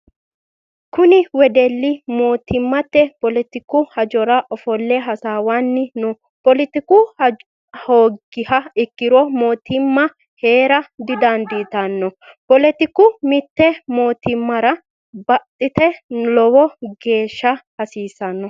Kunni wedeli mootimmate poletiku hajara ofole hasaawanni no. Poletiku hoogiha ikiro mootimma Heera didandiitano. Poletiku mite mootimara badhete lowo geesha hasiisano.